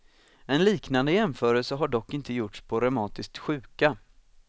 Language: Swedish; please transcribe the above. En liknande jämförelse har dock inte gjorts på reumatiskt sjuka.